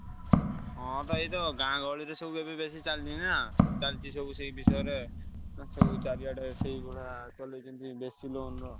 ହଁ ବା ଏଇତ ଗାଁ ଗହଳିରେ ସବୁ ଏବେ ବେଶୀ ଚାଲିଛି ନା ଚାଲିଛି ସବୁ ସେଇ ବିଷୟରେ ଉଁ ସବୁ ଚାରିଆଡେ ସେଇଗୁଡା ଚଲେଇଛନ୍ତି ବେଶୀ loan ର।